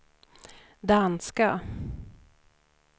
danska